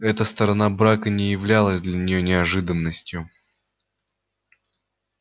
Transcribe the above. эта сторона брака не являлась для нее неожиданностью